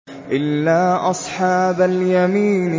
إِلَّا أَصْحَابَ الْيَمِينِ